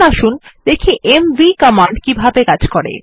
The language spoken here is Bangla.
এখন আসুন দেখি এমভি কমান্ড কিভাবে কাজ করে